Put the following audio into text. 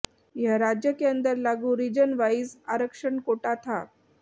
यह राज्य के अंदर लागू रीजन वाइज आरक्षण कोटा था